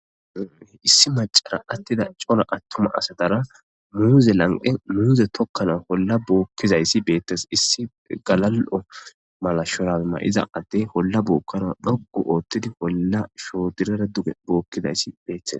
issi macara attida cola attuma asadara muuze lanqe muuze tokkana holla bookkizayssi beettes issi galal7o mala shoramay7iza adde holla bookkana dhogu oottidi holla shoodirara duge bookkidayssi beettes